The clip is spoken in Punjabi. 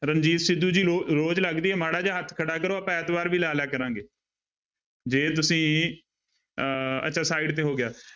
ਰਣਜੀਤ ਸਿੱਧੂ ਜੀ ਰੋ ਰੋਜ ਲੱਗਦੀ ਹੈ ਮਾੜਾ ਜਿਹਾ ਹੱਥ ਖੜਾ ਕਰੋ ਆਪਾਂ ਐਤਵਾਰ ਵੀ ਲਾ ਲਿਆ ਕਰਾਂਗੇ ਜੇ ਤੁਸੀਂ ਅਹ ਅੱਛਾ side ਤੇ ਹੋ ਗਿਆ।